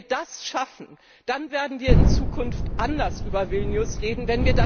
Wenn wir das schaffen, dann werden wir in Zukunft anders über Vilnius reden.